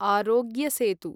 Aarogya Setu